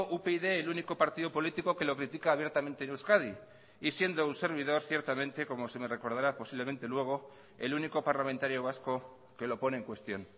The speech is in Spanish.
upyd el único partido político que lo critica abiertamente en euskadi y siendo un servidor ciertamente como se me recordará posiblemente luego el único parlamentario vasco que lo pone en cuestión